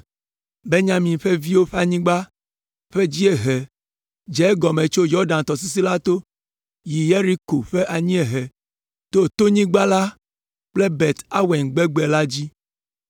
Benyamin ƒe viwo ƒe anyigba ƒe anyiehe dze egɔme tso Yɔdan tɔsisi la to, yi Yeriko ƒe anyiehe, to tonyigba la kple Bet Aven gbegbe la dzi.